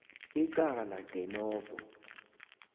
icala de novo